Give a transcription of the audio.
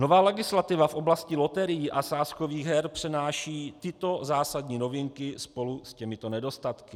Nová legislativa v oblasti loterií a sázkových her přenáší tyto zásadní novinky spolu s těmito nedostatky.